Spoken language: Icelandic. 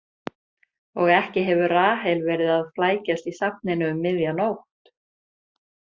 Og ekki hefur Rahel verið að flækjast í safninu um miðja nótt.